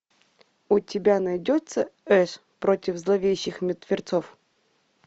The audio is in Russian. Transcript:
у тебя найдется эш против зловещих мертвецов